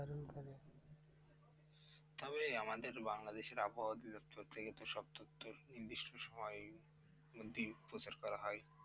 তবে আমাদের বাংলাদেশের আবহওয়া দপ্তর থেকে তো সব তথ্য নির্দিষ্ট সময়ের মধ্যেই প্রচার করা হয়।